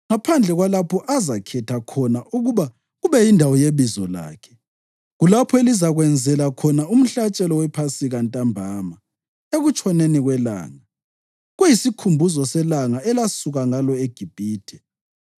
ngaphandle kwalapho azakhetha khona ukuba kube yindawo yeBizo lakhe. Kulapho elizakwenzela khona umhlatshelo wePhasika ntambama, ekutshoneni kwelanga, kuyisikhumbuzo selanga elasuka ngalo eGibhithe.